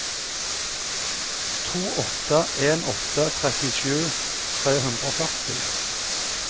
to åtte en åtte trettisju tre hundre og førti